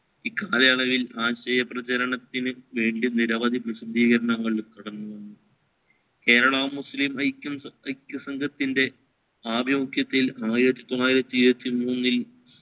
ഇക്കാലയളവിൽ ആശയ പ്രചാരണത്തിന് വേണ്ടി നിരവധി പ്രസദ്ധീകരങ്ങൾ കടന്നു കേരളം മുസ്ലിം ഐക്യം അക്യ സംഘത്തിൻറെ ആഭിമുഖ്യത്തിൽ ആയിരത്തി തൊള്ളായിരത്തി ഇരുവതി മൂന്നിൽ